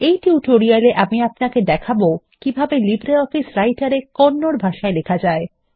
এই টিউটোরিয়াল এ আমি আপনাকে দেখাবো কিভাবে লিব্রিঅফিস রাইটার এ কন্নড ভাষায় লেখা যায়